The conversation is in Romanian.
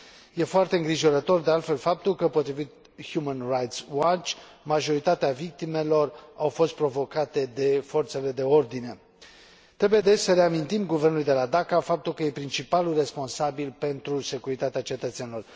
Este foarte îngrijorător, de altfel, faptul că, potrivit Human Rights Watch, majoritatea victimelor au fost provocate de forțele de ordine. Trebuie, deci, să reamintim guvernului de la Dhaka faptul că este principalul responsabil pentru securitatea cetățenilor.